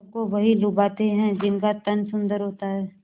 सबको वही लुभाते हैं जिनका तन सुंदर होता है